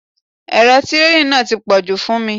Èrò tireeni náà ti pọ̀jù fún mi.